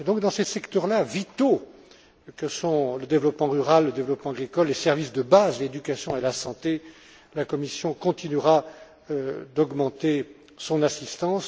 Donc, dans ces secteurs vitaux que sont le développement rural, le développement agricole, les services de base, l'éducation et la santé, la Commission continuera d'augmenter son assistance.